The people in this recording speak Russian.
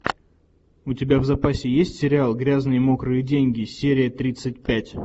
у тебя в запасе есть сериал грязные мокрые деньги серия тридцать пять